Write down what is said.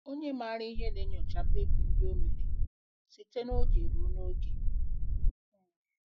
Onye maara ihe na-enyocha mkpebi ndị o mere site n'oge ruo n'oge.